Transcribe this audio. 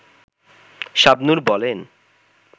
শাবনূর বলেন